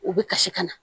U bɛ kasi ka na